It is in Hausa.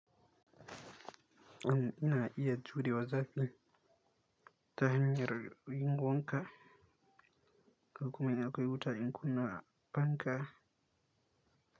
Ina iya jure wa zafi ta hanyar yin wan ka, ko kuma in akwai wuta in kunna fanka.